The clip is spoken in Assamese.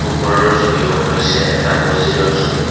ওপৰৰ ছবিখন হৈছে এটা মছজিদৰ ছবি।